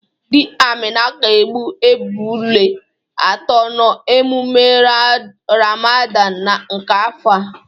Di Amina ga-egbu ebụlu atọ n'emume Ramadan nke afọ a.